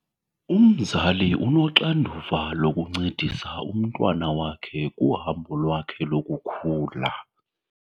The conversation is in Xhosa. Umzali unoxanduva lokuncedisa umntwana wakhe kuhambo lwakhe lokukhula.